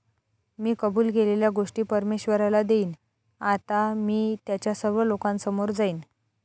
मी कबूल केलेल्या गोष्टी परमेश्वराला देईन. आता मी त्याच्या सर्व लोकांसमोर जाईन.